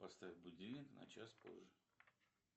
поставь будильник на час позже